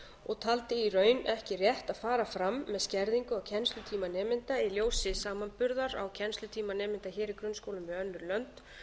og taldi í raun ekki rétt að fara fram með skerðingu á kennslutíma nemenda í ljósi samanburðar á kennslutíma nemenda hér í grunnskólum við önnur lönd